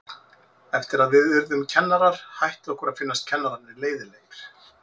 Eftir að við urðum kennarar hætti okkur að finnast kennararnir leiðinlegir.